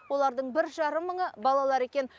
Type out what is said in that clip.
олардың бір жарым мыңы балалар екен